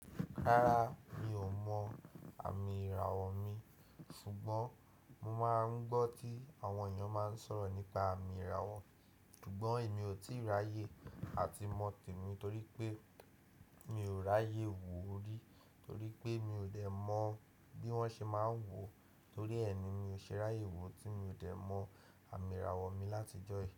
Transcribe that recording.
Rárá, mi ò mọ àmì ìràwọ̀ mi, ṣùgbọ́n mo máa ń gbọ́ tí àwọn èèyàn máa ń sọ̀rọ̀ nípa àmì ìràwọ̀, ṣùgbọ́n èmi ò tíì ráyè à ti mọ temí torí pé mi ò ráyè wo orí torí pé mi ò dẹ̀ mọ̀ bí wọ́n ṣe máa ń wò. Torí ẹ́ ni mi ò ṣe ráyè wo tí mi ò dẹ̀ mọ àmì ìràwọ̀ mi látijọ́ yìí.